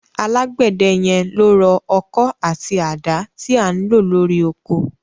Alágbẹ̀dẹ yẹn ló rọ ọkọ́ àti àdá tí à ń lò lórí oko.